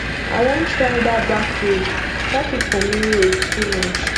i wan try dat back road traffic for main road too much